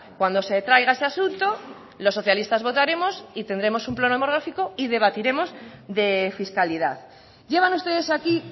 cuando se traiga ese asunto los socialistas votaremos y tendremos un pleno monográfico y debatiremos de fiscalidad llevan ustedes aquí